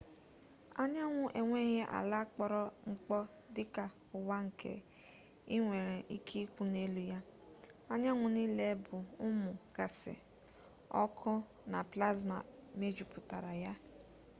anyanwụ enweghị ala kpọrọ mkpọ dị ka ụwa nke ị nwere ike ịkwụ n'elu ya anyanwụ niile bụ ụmụ gaasị ọkụ na plasma mejupụtara ya